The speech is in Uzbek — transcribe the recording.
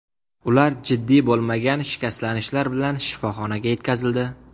Ular jiddiy bo‘lmagan shikastlanishlar bilan shifoxonaga yetkazildi.